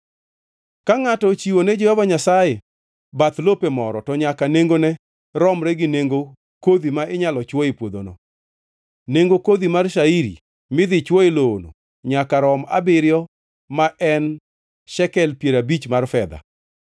“ ‘Ka ngʼato ochiwo ne Jehova Nyasaye bath lope moro, to nyaka nengone romre gi nengo kodhi ma inyalo chwo e puodhono. Nengo kodhi mar shairi midhi chwo e lowono nyaka rom abiriyo ma en shekel piero abich mar fedha.